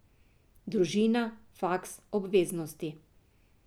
Družina, faks, obveznosti.